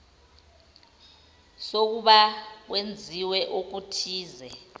sokuba kwenziwe okuthize